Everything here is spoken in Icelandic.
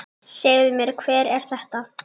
Segðu mér, hver er þetta?